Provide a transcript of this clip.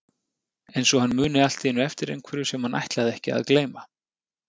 Eins og hann muni allt í einu eftir einhverju sem hann ætlaði ekki að gleyma.